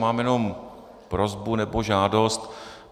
Mám jenom prosbu nebo žádost.